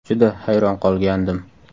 Juda hayron qolgandim.